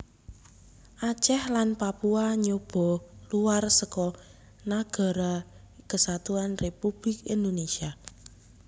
Aceh lan Papua nyoba luwar seka Nagara Kesatuan Républik Indonésia